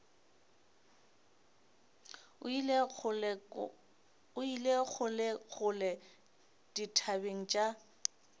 o ile kgolekgole dithabeng tša